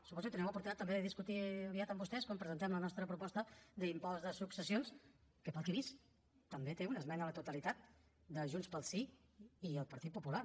suposo que tindrem oportunitat també de discutir ho aviat amb vostès quan presentem la nostra proposta d’impost de successions que per al que he vist també té una esmena a la totalitat de junts pel sí i el partit popular